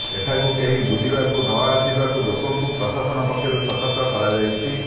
ଏଠାକୁ କେହି ବୁଲିବାକୁ ନଆସିବାକୁ ଲୋକଙ୍କୁ ପ୍ରଶାସନ ପକ୍ଷରୁ ସତର୍କ କରାଯାଇଛି